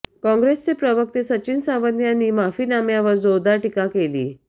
काँग्रेसचे प्रवक्ते सचिन सावंत यांनी माफीनाम्यावर जोरदार टीका केली